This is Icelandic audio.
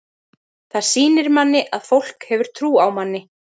Það sýnir manni að fólk hefur trú á manni.